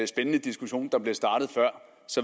spændende diskussion der blev startet før